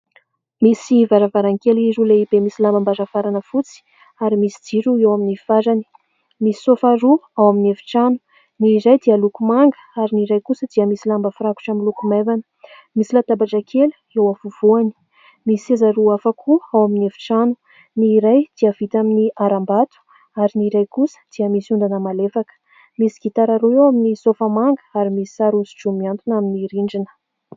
Misy varavarankely roa lehibe misy lambam-baravarana fotsy ary misy jiro eo amin'ny farany. Misy sofa roa ao amin'ny efitrano : ny iray dia loko manga ary ny iray kosa dia misy lamba firakotra miloko maivana. Misy latabatra kely eo afovoany, misy seza roa afaka koa ao amin'ny efitrano : ny iray dia vita amin'ny harambato ary ny iray kosa dia misy ondana malefaka. Misy gitara roa eo amin'ny sofa manga ary misy sary hoso-droa mihantona amin'ny rindrina.